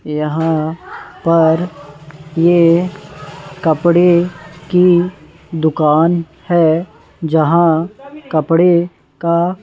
यहां पर ये कपड़े की दुकान है जहां कपड़े का--